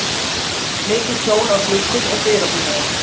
Mikið tjón á gluggum og dyrabúnaði.